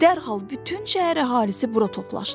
Dərhal bütün şəhər əhalisi bura toplaşdı.